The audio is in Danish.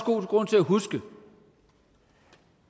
god grund til at huske